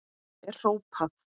er hrópað.